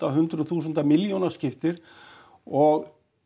hundruðum þúsunda milljónum skiptir og